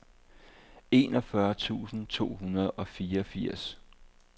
enogfyrre tusind to hundrede og fireogfirs